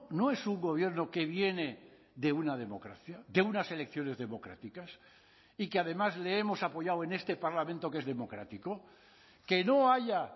no es un gobierno que viene de una democracia de unas elecciones democráticas y que además le hemos apoyado en este parlamento que es democrático que no haya